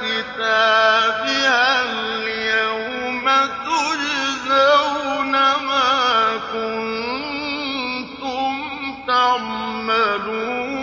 كِتَابِهَا الْيَوْمَ تُجْزَوْنَ مَا كُنتُمْ تَعْمَلُونَ